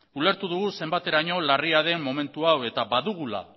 ulertu dugu zenbateraino larria den momentu hau eta badugula